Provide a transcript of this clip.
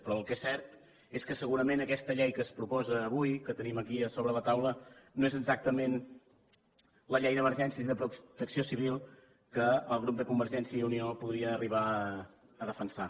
però el que és cert és que segurament aquesta llei que es proposa avui que tenim aquí sobre la taula no és exactament la llei d’emergències i de protecció civil que el grup de convergència i unió podria arribar a defensar